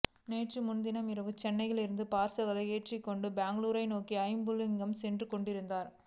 நேற்று முன்தினம் இரவு சென்னையிலிருந்து பார்சல்களை ஏற்றிக்கொண்டு பெங்களூர் நோக்கி ஜம்புலிங்கம் சென்று கொண்டிருந்தார்